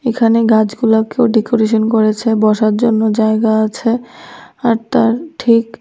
এইখানে গাছগুলাকেও ডেকোরেশন করেছে বসার জন্য জায়গা আছে আর তার ঠিক--